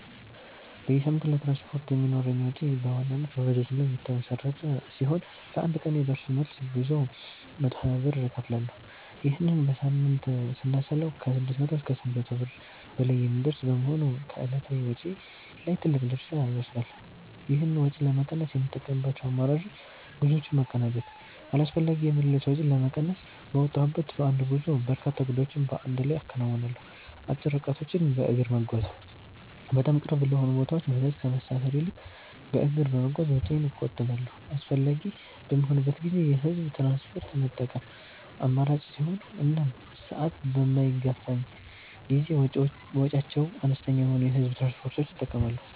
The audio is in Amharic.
በየሳምንቱ ለትራንስፖርት የሚኖረኝ ወጪ በዋናነት በባጃጅ ላይ የተመሠረተ ሲሆን፣ ለአንድ ቀን የደርሶ መልስ ጉዞ 120 ብር እከፍላለሁ። ይህንን በሳምንት ስናሰላው ከ600 እስከ 800 ብር በላይ የሚደርስ በመሆኑ ከዕለታዊ ወጪዬ ላይ ትልቅ ድርሻ ይወስዳል። ይህን ወጪ ለመቀነስ የምጠቀምባቸው አማራጮች፦ ጉዞዎችን ማቀናጀት፦ አላስፈላጊ የምልልስ ወጪን ለመቀነስ፣ በወጣሁበት በአንድ ጉዞ በርካታ ጉዳዮችን በአንድ ላይ አከናውናለሁ። አጭር ርቀቶችን በእግር መጓዝ፦ በጣም ቅርብ ለሆኑ ቦታዎች ባጃጅ ከመሳፈር ይልቅ በእግር በመጓዝ ወጪዬን እቆጥባለሁ። አስፈላጊ በሚሆንበት ጊዜ የህዝብ ትራንስፖርት መጠቀም፦ አማራጭ ሲኖር እና ሰዓት በማይገፋኝ ጊዜ ወጪያቸው አነስተኛ የሆኑ የህዝብ ትራንስፖርቶችን እጠቀማለሁ።